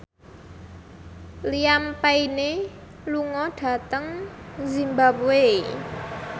Liam Payne lunga dhateng zimbabwe